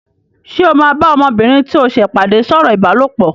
Ṣé o máa bá ọmọbìnrin tí o ṣẹ̀ pàdé sọ̀rọ̀ ìbálòpọ̀?